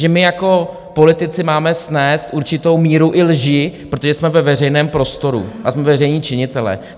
Že my jako politici máme snést určitou míru i lži, protože jsme ve veřejném prostoru a jsme veřejní činitelé.